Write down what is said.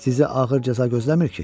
Sizi ağır cəza gözləmir ki?